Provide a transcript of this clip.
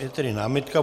Je tedy námitka.